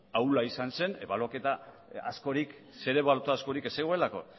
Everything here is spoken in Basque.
ahula izan zen zer ebaluatu askorik ez zegoelako